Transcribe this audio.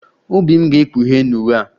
Obi m ga-ekpughe n'uwe a